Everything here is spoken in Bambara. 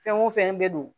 Fɛn o fɛn bɛ don